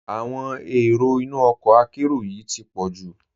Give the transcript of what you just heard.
Awọn èró ìnú ọkọ àkéró yìí ti pọ̀ ju.